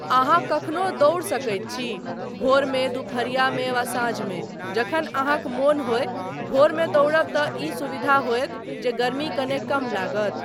अहाँ कखनो दौड़ि सकैत छी, भोरमे, दुपहरियामे वा साँझमे , जखन अहाँक मन होय, भोरमे दौड़ब तँ ई सुविधा होयत जे गर्मी कने कम लागत।